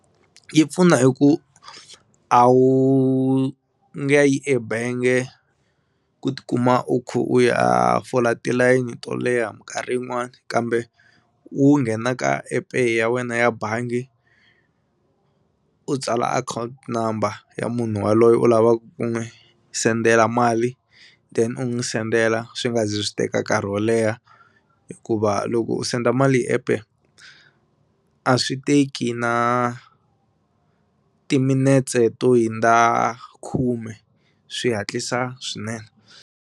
Yi pfuna hi ku a wu nga yi ebenge ku tikuma u khu u ya fola tilayini to leha minkarhi yin'wani kambe u nghena ka appe ya wena ya bangi u tsala account number ya munhu waloye u lavaku ku n'wi sendela mali then u n'wi sendela swi nga zi swi teka nkarhi wo leha hikuva loko u send a mali hi epe a swi teki na timinetse to hundza khume swi hatlisa swinene.